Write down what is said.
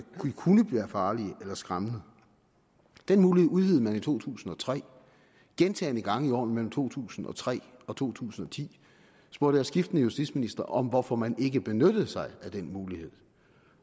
kunne være farlige eller skræmmende den mulighed udvidede man i to tusind og tre gentagne gange i årene mellem to tusind og tre og to tusind og ti spurgte jeg skiftende justitsministre om hvorfor man ikke benyttede sig af den mulighed